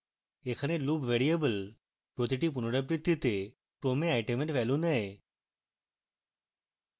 এখানে loop variable প্রতিটি পুনরাবৃত্তিতে ক্রমে item value নেয়